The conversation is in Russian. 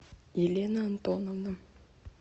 елена антоновна